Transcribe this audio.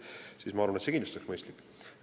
See oleks minu arvates kindlasti mõistlik.